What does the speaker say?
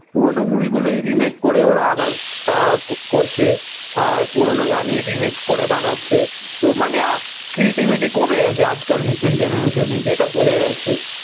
পুরোনো movie remake করে ওরা আবার করছে আহ পুরোনো গানই রিমেক করে বানাচ্ছে তো মানে ক্রিয়েটিভিটি কমে গেছে আজ কাল নতুন জেনেরেশনে যেটা বোঝা যাচ্ছে